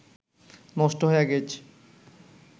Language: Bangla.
নষ্ট হয়া গেইচ